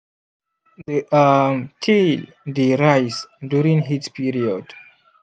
the um tail dey rise during heat period